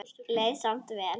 Leið samt vel.